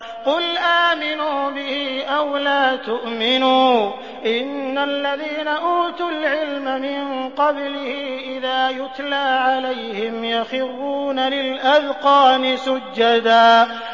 قُلْ آمِنُوا بِهِ أَوْ لَا تُؤْمِنُوا ۚ إِنَّ الَّذِينَ أُوتُوا الْعِلْمَ مِن قَبْلِهِ إِذَا يُتْلَىٰ عَلَيْهِمْ يَخِرُّونَ لِلْأَذْقَانِ سُجَّدًا